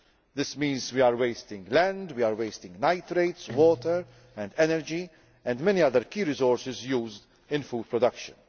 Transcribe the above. This means we are wasting land, nitrates, water and energy and many other key resources used in food production.